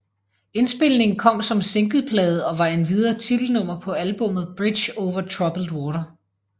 Indspilningen kom som singleplade og var endvidere titelnummer på albummet Bridge over Troubled Water